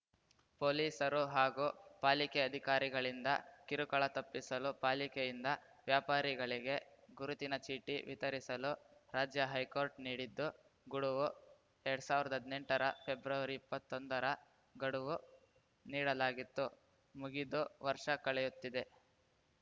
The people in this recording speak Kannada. ಪೊಲೀಸರು ಹಾಗೂ ಪಾಲಿಕೆ ಅಧಿಕಾರಿಗಳಿಂದ ಕಿರುಕುಳ ತಪ್ಪಿಸಲು ಪಾಲಿಕೆಯಿಂದ ವ್ಯಾಪಾರಿಗಳಿಗೆ ಗುರುತಿನ ಚೀಟಿ ವಿತರಿಸಲು ರಾಜ್ಯ ಹೈಕೋರ್ಟ್‌ ನೀಡಿದ್ದು ಗುಡುವು ಎರಡ್ ಸಾವಿರ್ದಾ ಹದ್ನೆಂಟರ ಫೆಬ್ರವರಿಇಪ್ಪತ್ತೊಂದರ ಗಡುವು ನೀಡಲಾಗಿತ್ತು ಮುಗಿದು ವರ್ಷ ಕಳೆಯುತ್ತಿದೆ